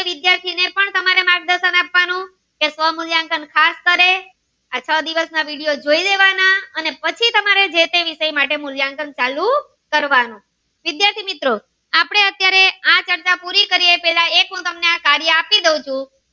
સ્વમુલ્યાંકન ફાસ કરે આ છ દિવસ ના video જોઈ લેવાના અને પછી તમે જે તે વિસય માટે મૂલ્યાંકન ચાલુ કરવાનું વિદ્યાર્થી મિત્રો આપડે અત્યારે આ ચર્ચા પુરી કરીએ પેલા હું તમને આ કાર્ય આપી દાવ છું.